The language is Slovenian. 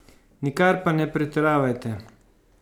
Nikar pa ne pretiravajte!